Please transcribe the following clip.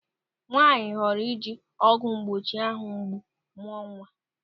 Nwaanyị họrọ ịji ọgwụ mgbochi áhụ̀ mgbu mụọ nwa.